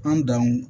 An danw